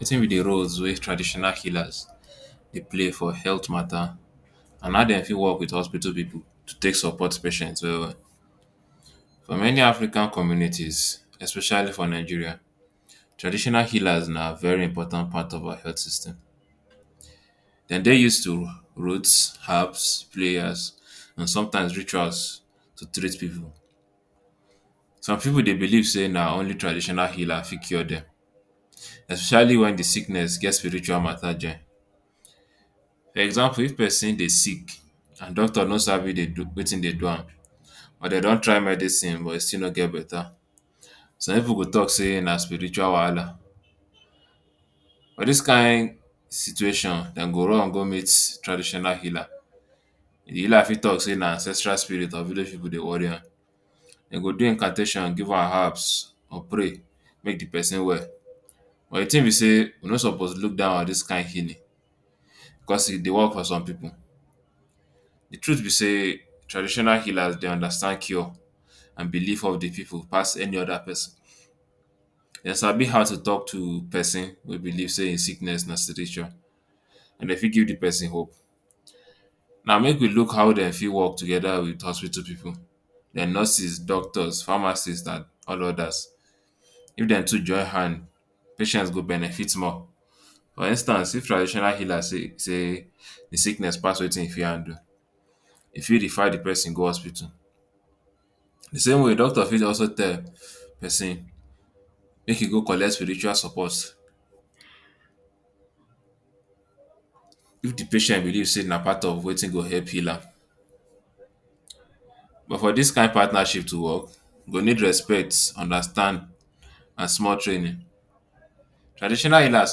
Wetin be di roles wey traditional healers dey play for health matta and how dem fit wok wit hospital pipu to take support patients well well. So many African community especially for Nigeria, traditional healers na very important part of our health system. Dem dey use roots, herbs, and somtime rituals to treat pipu. Some pipu dey believe say na only traditional healer fit cure dem especially wen di sickness get spiritual matta join. For example, if pesin dey sick and doctor no sabi wetin dey do am but dem don try medicine but im still no get betta, some pipu go tok say na spiritual wahala. For dis kain situation, dem go run go meet traditional healer. Dem fit tok say na ancestral spirit or village pipu dey worry am. Dem go do incantations, give am herbs or pray make di pesin well. But di tin be say we no suppose look down on dis kain healing bicos e dey wok for some pipu. Di truth be say traditional healers dey understand cure and belief of di pipu pass any oda pesin. Dem sabi how to tok to pesin wey believe say im sickness na spiritual. Dem fit give di pesin hope. Naw, make we look how dem fit wok togeda wit hospital pipu—dem nurses, doctors, pharmacist and all odas. If dem too join hand, patient go benefit more. For instance, if traditional healer see say di sickness pass wetin e fit handle, e fit refer di pesin go hospital. Same way wey doctor fit tell pesin make im go collect spiritual support, if di patient believe say na part of wetin go help heal am. But for dis kain partnership to wok, e go need respect, understanding and small training. Traditional healers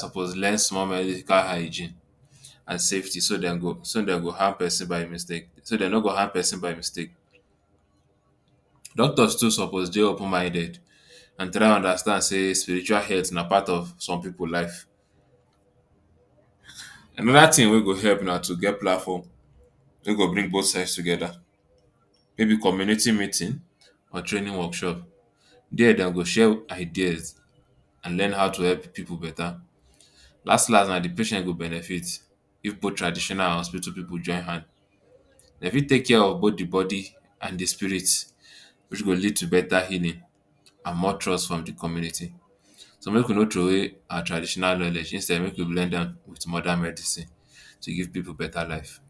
suppose learn small medical hygiene and safety so dem no go harm pesin by mistake. Doctors too suppose dey open-minded and try understand say spiritual health na part of some pipu life. Anoda tin wey go help na to get platform wey go bring both sides togeda. E fit be community meeting or training workshop. Dia dem go share ideas and learn how to help pipu betta. Las las, na di patient go benefit if both traditional and hospital pipu join hand. Dem fit take care of both di body and di spirit, wey go lead to betta healing and more trust from di community. So make we no throway our traditional knowledge. Instead, make we blend am wit modern medicine to give pipu betta life.